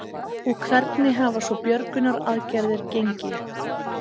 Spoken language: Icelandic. Og hvernig hafa svo björgunaraðgerðir gengi?